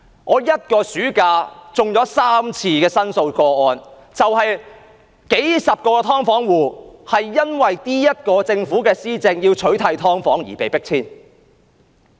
我一個暑假便接了3宗申訴個案，數十個"劏房戶"因為政府在施政上要取締"劏房"而被迫遷。